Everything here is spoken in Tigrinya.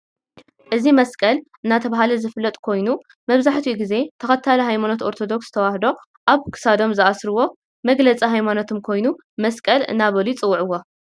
እዚ መስቀል እናተባህለ ዝፍለጥ ኮይኑ መብዛሕቲኡ ግዜ ተክታሊ ሃይማኖቶ አርቶዶክስ ተዋህድ አብ ክሳዶም ዝአስርዋ መግለፂ ሃይማኖቶም ኮይኑ መስቀል እናበሉ ይፅውዕዎ።